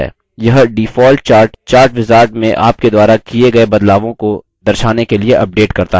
यह default chart chartwizard में आप के द्वारा किये गये बदलावों को दर्शाने के लिए अपडेट करता है